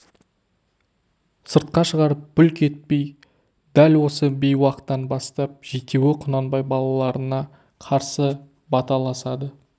сыртқа шығарып бүлк етпей дәл осы бейуақтан бастап жетеуі құнанбай балаларына қарсы баталасады